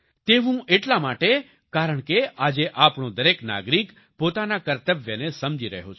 તેવું એટલા માટે કારણ કે આજે આપણો દરેક નાગરિક પોતાના કર્તવ્યને સમજી રહ્યો છે